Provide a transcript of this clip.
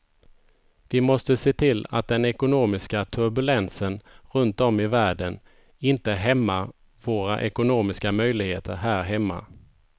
Vi måste se till att den ekonomiska turbulensen runt om i världen inte hämmar våra ekonomiska möjligheter här hemma.